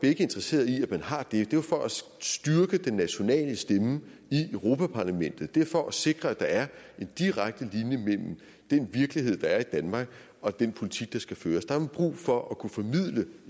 er interesseret i at man har det er jo for at styrke den nationale stemme i europa parlamentet det er for at sikre at der er en direkte linje mellem den virkelighed der er i danmark og den politik der skal føres der har man brug for at kunne formidle